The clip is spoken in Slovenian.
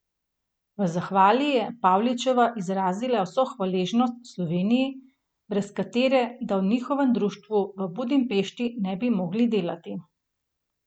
V zahvali je Pavličeva izrazila vso hvaležnost Sloveniji, brez katere da v njihovem društvu v Budimpešti ne bi mogli delati.